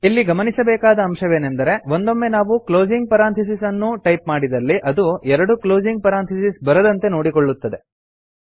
ಇಲ್ಲಿ ಗಮನಿಸಬೇಕಾದ ಅಂಶವೆಂದರೆ ಒಂದೊಂಮ್ಮೆ ನಾವು ಕ್ಲೋಸಿಂಗ್ ಪೆರಾಂಥಿಸಿಸ್ ಅನ್ನೂ ಟೈಪ್ ಮಾಡಿದಲ್ಲಿ ಅದು ಎರಡು ಕ್ಲೋಸಿಂಗ್ ಪೆರಾಂಥಿಸಿಸ್ ಬರದಂತೆ ನೋಡಿಕೊಳ್ಳುತ್ತದೆ